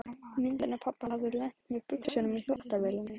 Myndin af pabba hafði lent með buxunum í þvottavélinni.